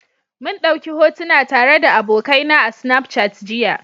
mun dauki hotuna tare da abokaina a Snapchat jiya.